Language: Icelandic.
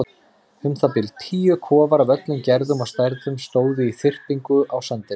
Um það bil tíu kofar af öllum gerðum og stærðum stóðu í þyrpingu á sandinum.